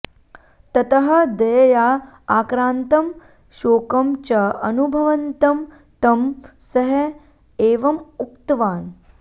ततः दयया आक्रान्तं शोकं च अनुभवन्तं तं सः एवम् उक्तवान्